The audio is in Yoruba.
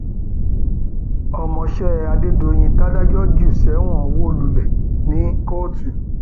ọmọọṣẹ adédèyìn tàdájọ jù sẹwọn wó lulẹ ní kóòtù